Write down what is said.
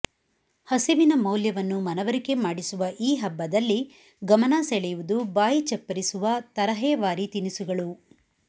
ಹಸಿವಿನ ಮೌಲ್ಯವನ್ನು ಮನವರಿಕೆ ಮಾಡಿಸುವ ಈ ಹಬ್ಬದಲ್ಲಿ ಗಮನ ಸೆಳೆಯುವುದು ಬಾಯಿ ಚಪ್ಪರಿಸುವ ತರಹೇವಾರಿ ತಿನಿಸುಗಳು